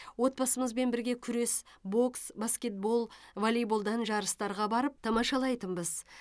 отбасымызбен бірге күрес бокс баскетбол воллейболдан жарыстарға барып тамашалайтынбыз